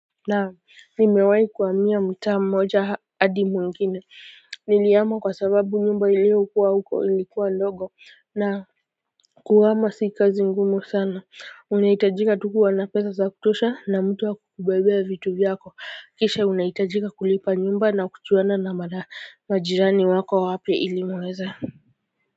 Naam nimewahi kuhamia mtaa mmoja hadi mwingine nilihama kwa sababu nyumba iliyokuwa huko ilikuwa ndogo na kuhama si kazi ngumu sana unahitajika tu kuwa na pesa za kutosha na mtu wa kukubebea vitu vyako kisha unahitajika kulipa nyumba na kujuana na mara majirani wako wapya ili muweze.